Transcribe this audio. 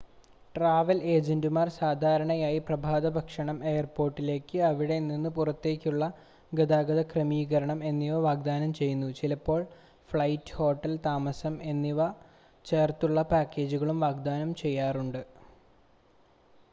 travel ഏജൻ്റുമാർ സാധാരണയായി പ്രഭാതഭക്ഷണം എയർപോർട്ടിലേക്ക് / അവിടെ നിന്ന് പുറത്തേക്കുള്ള ഗതാഗത ക്രമീകരണം എന്നിവ വാഗ്ദാനം ചെയ്യുന്നു ചിലപ്പോൾ ഫ്ലൈറ്റ് ഹോട്ടൽ താമസം എന്നിവ ചേർന്നുള്ള പാക്കേജുകളും വാഗ്ദാനം ചെയ്യാറുണ്ട്